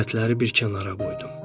Alətləri bir kənara qoydum.